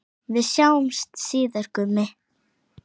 Við sjáumst síðar, Gummi.